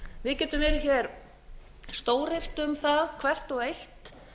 við getum verið hér stóryrt um það hvert og eitt